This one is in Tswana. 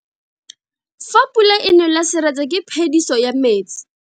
Fa pula e nele seretse ke phediso ya metsi.